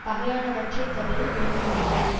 பகையானவற்றைத் தவிரல் வேண்டும்மென்றது